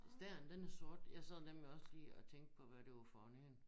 Stæren den er sort jeg sad nemlig også lige og tænkte på hvad det var for en én